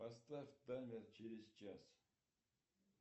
поставь таймер через час